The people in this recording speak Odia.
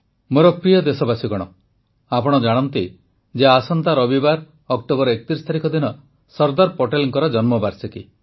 ମୋର ପ୍ରିୟ ଦେଶବାସୀଗଣ ଆପଣ ଜାଣନ୍ତି ଯେ ଆସନ୍ତା ରବିବାର ଅକ୍ଟୋବର ୩୧ ତାରିଖ ଦିନ ସର୍ଦ୍ଦାର ପଟେଲଙ୍କର ଜନ୍ମବାର୍ଷିକୀ